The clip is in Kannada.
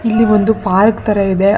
ಇಲ್ಲಿ ಒಂದು ಪಾರ್ಕ್ ತರ ಇದೆ.